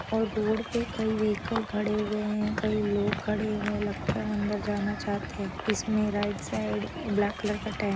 और रोड पे कई वेहिकल खड़े हुए है कई लोग खड़े हुए लगता है अंदर जाना चाहते है इसमे राइट साइड ब्लॅक कलर का टे--